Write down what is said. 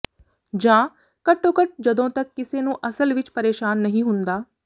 ਜਾਂ ਘੱਟੋ ਘੱਟ ਜਦੋਂ ਤੱਕ ਕਿਸੇ ਨੂੰ ਅਸਲ ਵਿੱਚ ਪਰੇਸ਼ਾਨ ਨਹੀਂ ਹੁੰਦਾ